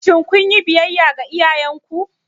Shin kun yi biyayya ga iyayenku?